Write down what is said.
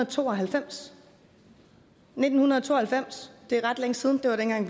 to og halvfems nitten to og halvfems det er ret længe siden det var dengang